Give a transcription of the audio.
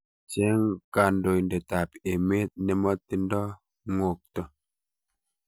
Cheng' kandoindetap emet nemotindo ng'okto